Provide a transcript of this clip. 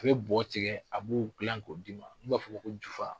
U bɛ bɔ tigɛ a b'u dilan k'o d'i ma , i b'a fɔ ko ko jufa.